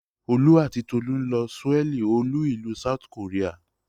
Olú àti Tolú ń lọ Souel olú-ìlú South Korea.